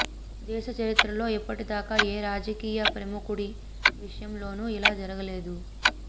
దేశ చరిత్రలో ఇప్పటిదాకా ఏ రాజకీయ ప్రముఖుడి విషయంలోనూ ఇలా జరగలేదు